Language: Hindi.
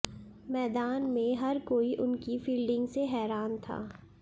मैदान में हर कोई उनकी फील्डिंग से हैरान था